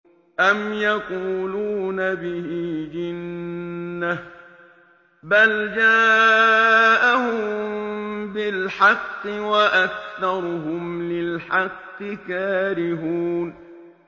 أَمْ يَقُولُونَ بِهِ جِنَّةٌ ۚ بَلْ جَاءَهُم بِالْحَقِّ وَأَكْثَرُهُمْ لِلْحَقِّ كَارِهُونَ